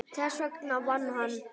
Þess vegna vann hann.